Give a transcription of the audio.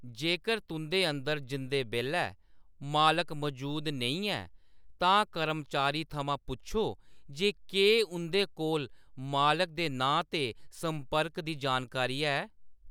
जेकर तुंʼदे अंदर जंदे बेल्लै मालक मजूद नेईं ऐ, तां कर्मचारी थमां पुच्छो जे केह्‌‌ उंʼदे कोल मालक दे नांऽ ते संपर्क दी जानकारी है।